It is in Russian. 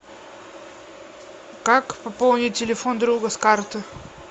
как пополнить телефон друга с карты